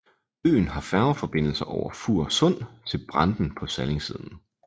Øen har færgeforbindelse over Fur Sund til Branden på Sallingsiden